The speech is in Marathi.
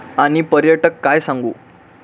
आणि पर्यटक काय सांगू?